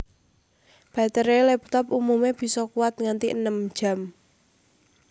Batere laptop umume bisa kuwat nganti enem jam